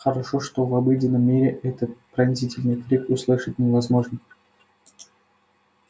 хорошо что в обыденном мире этот пронзительный крик услышать невозможно